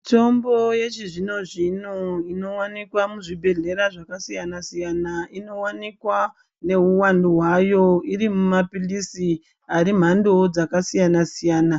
Mitombo yechizvino zvino inowanikwa muzvibhedhlera zvakasiyana siyana inowanikwa neuwandu hwayo iri mumapilizi ari mhandowo dzakasiyana siyana.